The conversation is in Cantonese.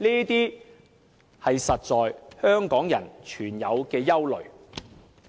這些是香港人實在存有的憂慮。